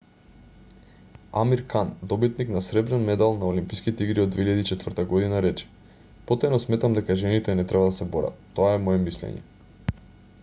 амир кан добитник на сребрен медал на олимписките игри од 2004 г рече потајно сметам дека жените не треба да се борат тоа е мое мислење